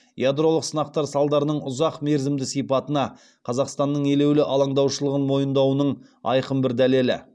ядролық сынақтар салдарының ұзақ мерзімді сипатына қазақстанның елеулі алаңдаушылығын мойындауының айқын бір дәлелі